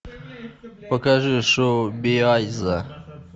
покажи шоу биайса